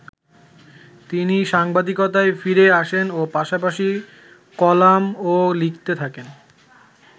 তিনি সাংবাদিকতায় ফিরে আসেন ও পাশাপাশি কলামও লিখতে থাকেন।